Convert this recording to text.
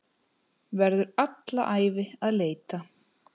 Verður alla ævi að leita.